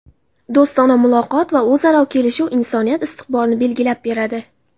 do‘stona muloqot va o‘zaro kelishuv insoniyat istiqbolini belgilab beradi.